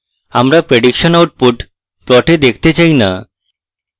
আমরা prediction output plot দেখাতে চাই না